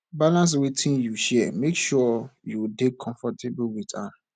balance wetin you share make sure you dey comfortable with am